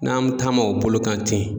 N'an mi taama o bolo kan ten.